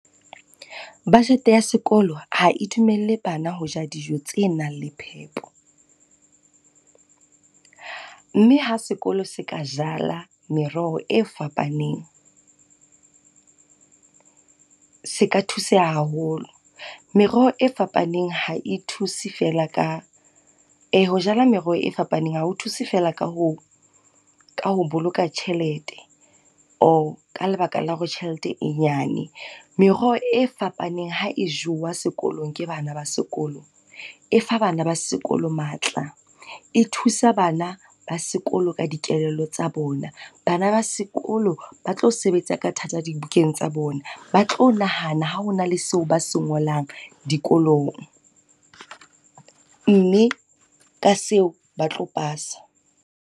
Budget ya sekolo ha e dumelle bana ho ja dijo tse nang le phepo. Mme ha sekolo se ka jala meroho e fapaneng, se ka thuseha haholo. Meroho e fapaneng ha e thuse fela. Ee, ho jala meroho e fapaneng ha ho thuse fela ka ho boloka tjhelete or ka lebaka la hore tjhelete e nyane. Meroho e fapaneng ha e jowa sekolong ke bana ba sekolo, e fa bana ba sekolo matla. E thusa bana ba sekolo ka dikelello tsa bona. Bana ba sekolo ba tlo sebetsa ka thata dibukeng tsa bona, ba tlo nahana ha hona le seo ba se ngolang dikolong. Mme ka seo ba tlo pasa.